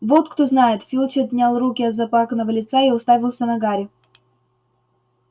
вот кто знает филч отнял руки от заплаканного лица и уставился на гарри